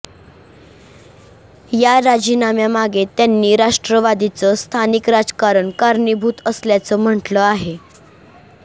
या राजीनाम्यामागे त्यांनी राष्ट्रवादीचं स्थानिक राजकारण कारणीभूत असल्याचं म्हटलं आहे